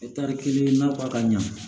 kelen na ka ɲa